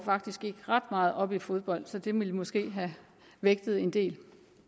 ret meget op i fodbold og det ville måske have vægtet en del